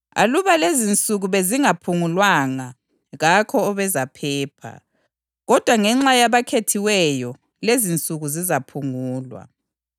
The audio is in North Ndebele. Aluba lezinsuku bezingaphungulwanga, kakho obezaphepha, kodwa ngenxa yabakhethiweyo lezinsuku zizaphungulwa.